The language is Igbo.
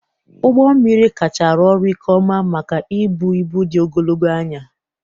Ụgbọ mmiri kacha arụ ọrụ nke ọma maka ibu ibu dị ogologo anya.